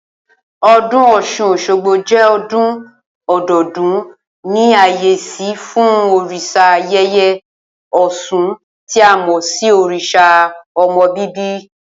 O̩dún Ò̩s̩un-os̩ógbo jé̩ o̩dún o̩do̩o̩dún ní àyé̩sí fún òrìs̩a yèyé ò̩s̩un tí a mò̩ sí òrìs̩à o̩mo̩ bíbí